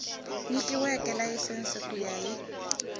nyikiweke layisense ku ya hi